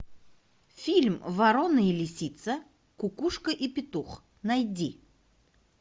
фильм ворона и лисица кукушка и петух найди